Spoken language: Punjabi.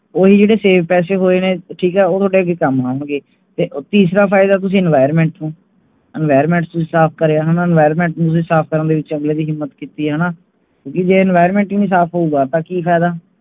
ਉਹੀ ਜਿਹੜੇ save ਪੈਸੇ ਹੋਏ ਨੇ, ਠੀਕ ਹੈ ਉਹ ਤੁਹਾਡੇ ਅਗੇ ਕੰਮ ਆਉਣਗੇ ਤੇ ਤੀਸਰਾ ਫਾਇਦਾ ਤੁਸੀਂ environment ਨੂੰ environment ਨੂੰ ਤੁਸੀਂ ਸਾਫ ਕਰਿਆ ਹੈਣਾ environment ਨੂੰ ਤੁਸੀਂ ਸਾਫ ਕਰਨ ਵਿੱਚ ਅਗਲੇ ਹੈਣਾ ਕਿਓਂਕਿ ਜੇ environment ਹੀ ਨਹੀਂ ਸਾਫ਼ ਹੋਊਗਾ ਤੇ ਕਿ ਫਾਇਦਾ